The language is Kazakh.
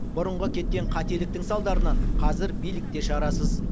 бұрынғы кеткен қателіктің салдарынан қазір билік те шарасыз